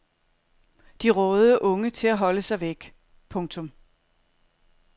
De rådede unge til at holde sig væk. punktum